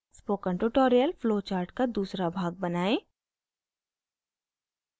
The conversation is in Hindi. spoken tutorial फ्लो चार्ट का दूसरा भाग बनाएं